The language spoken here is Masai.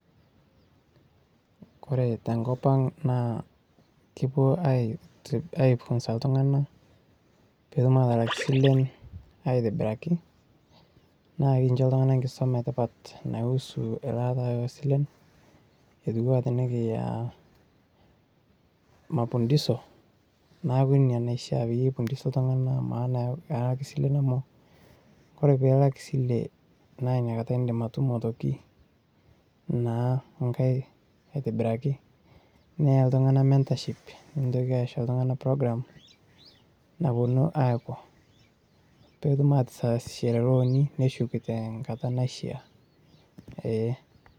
Kore tenkop ang' naa kipuo aifunsa iltung'anak pee etum aatalak silen aitobiraki, naa aikincho iltung'anak enkisuma sidai nausu elaata oo silen' mapundisho neeku Ina naifaa tolosho lang' lemaa amu kaya ake silen' amu kore paalak esile naa nakata eegil atum aitoki naa engae aitobiraki neya iltung'anak Mentorship nintokiki aisho iltung'anak program naponu aapuo pee etum ataasishore looni neshuk teng'ata naishaa ee.